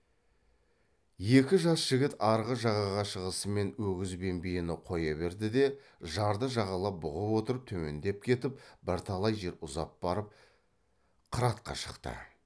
екі жас жігіт арғы жағаға шығысымен өгіз бен биені қоя берді де жарды жағалап бұғып отырып төмендеп кетіп бірталай жер ұзап барып қыратқа шықты